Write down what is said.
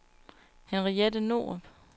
Henriette Norup